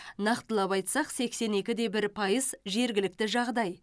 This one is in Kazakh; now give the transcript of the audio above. нақтылап айтсақ сексен екі де бір пайыз жергілікті жағдай